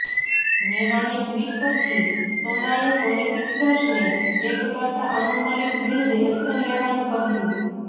નેહાની tweet પછી સોનાએ Sony પિક્ચર્સને ટેગ કરતા અનુ મલિક વિરુદ્ધ એક્શન લેવાનું કહ્યું